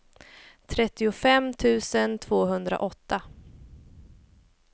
trettiofem tusen tvåhundraåtta